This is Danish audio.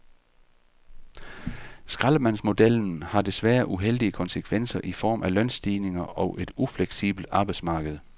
Skraldemandsmodellen har desværre uheldige konsekvenser i form af lønstigninger og et ufleksibelt arbejdsmarked.